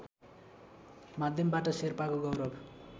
माध्यमबाट शेर्पाको गौरव